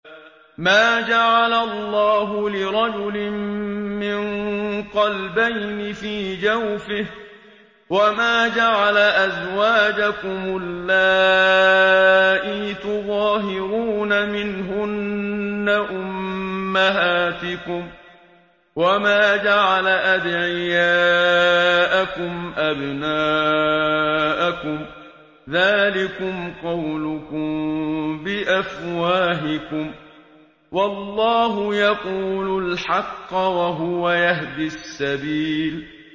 مَّا جَعَلَ اللَّهُ لِرَجُلٍ مِّن قَلْبَيْنِ فِي جَوْفِهِ ۚ وَمَا جَعَلَ أَزْوَاجَكُمُ اللَّائِي تُظَاهِرُونَ مِنْهُنَّ أُمَّهَاتِكُمْ ۚ وَمَا جَعَلَ أَدْعِيَاءَكُمْ أَبْنَاءَكُمْ ۚ ذَٰلِكُمْ قَوْلُكُم بِأَفْوَاهِكُمْ ۖ وَاللَّهُ يَقُولُ الْحَقَّ وَهُوَ يَهْدِي السَّبِيلَ